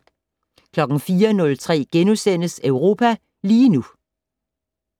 04:03: Europa lige nu *